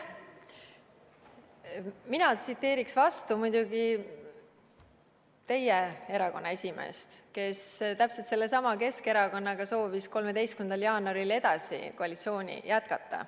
Mina tsiteeriksin vastu muidugi teie erakonna esimeest, kes täpselt sellesama Keskerakonnaga soovis 13. jaanuaril edasi koalitsioonis jätkata.